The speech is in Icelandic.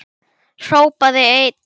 Hrópaði einn: